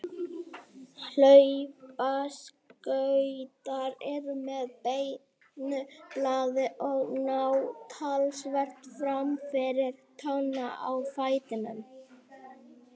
Hlaupaskautar eru með beinu blaði og ná talsvert fram fyrir tána á fætinum.